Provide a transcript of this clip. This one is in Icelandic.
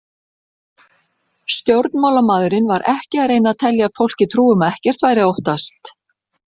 Stjórnmálamaðurinn var ekki að reyna að telja fólki trú um að ekkert væri að óttast.